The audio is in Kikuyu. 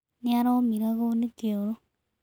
Nĩ araũmĩragwo nĩ kĩoro.